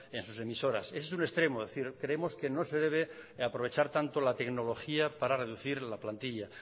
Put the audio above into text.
en sus emisoras ese es un extremo es decir creemos que no se debe aprovechar tanto la tecnología para reducir la plantilla